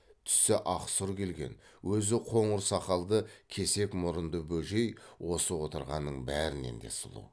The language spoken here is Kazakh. түсі ақ сұр келген өзі қоңыр сақалды кесек мұрынды бөжей осы отырғанның бәрінен де сұлу